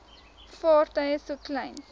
vaartuie so klein